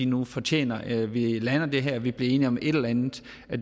nu fortjener at vi lander det her og at vi bliver enige om et eller andet